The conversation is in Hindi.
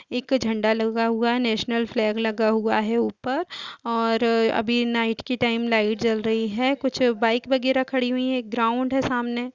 एक झंडा लगा हुआ है नेशनल फ्लैग लगा हुआ है ऊपर और अभी नाईट की टाइम लाइट जल रही है कुछ बाइक वगैरह खड़ी हुई है एक ग्राउन्ड है सामने।